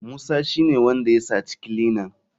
Musa shine wanda ya saci kilinan.